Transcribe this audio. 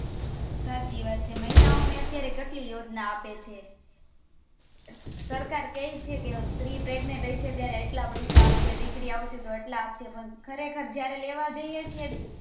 સાચી વાત છે મહિલા ઓને અત્યારે કેટલી યોજના ઓં આપે છે સરકાર કે છે સ્ત્રી Pregent હશે ત્યારે આટલા પૈસા આપશે દીકરી આવશે આટલા આપશે ખરેખર જયારે લેવા જીએ છીએ